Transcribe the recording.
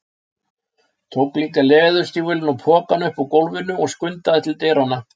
Tók líka leðurstígvélin og pokann upp úr gólfinu og skundaði til dyranna.